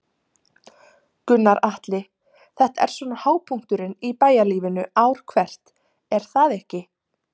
Gunnar Atli: Þetta er svona hápunkturinn í bæjarlífinu ár hvert er það ekki?